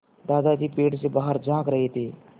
दादाजी पेड़ से बाहर झाँक रहे थे